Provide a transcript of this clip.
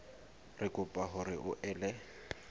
re kopa hore o ele